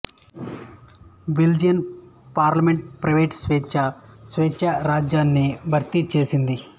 Belgian parliament private స్వేచ్ఛా స్వేచ్ఛా రాజ్యాన్ని భర్తీ చేసింది